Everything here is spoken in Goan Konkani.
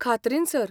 खात्रीन, सर.